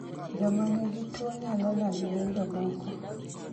Joma nigi tuwo nyalo lando ne jomoko